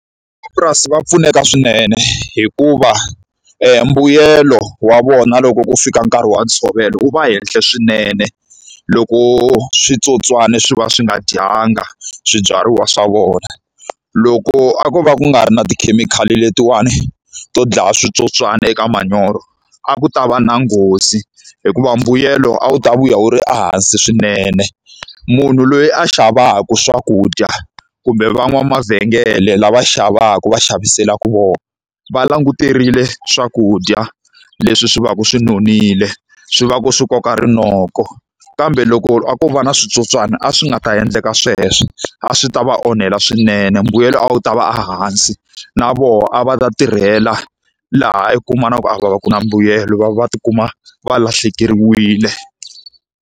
Van'wamapurasi va pfuneka swinene hikuva e mbuyelo wa vona loko ku fika nkarhi wa ntshovelo wu va henhla swinene, loko switsotswana swi va swi nga dyanga swibyariwa swa vona. Loko a ko va ku nga ri na tikhemikhali letiwani to dlaya switsotswana eka manyoro, a ku ta va na nghozi hikuva mbuyelo a wu ta vuya wu ri ehansi swinene. Munhu loyi a xavaka swakudya, kumbe van'wana mavhengele lava xavaka va xaviselaka vona, va languterile swakudya leswi swi va ku swi nonile, swi va ku swi koka rinoko. Kambe loko a ko va na switsotswana a swi nga ta endleka sweswo, a swi ta va onhela swinene mbuyelo a wu ta va ehansi. Na vona a va ta tirhela laha i kuma na ku a va va ku na mbuyelo, va va va ti kuma va lahlekeriwile.